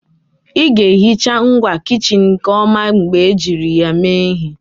Ị ga-ehicha ngwa kichin nke ọma mgbe ejiri ya mee ihe